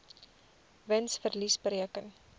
wins verlies bereken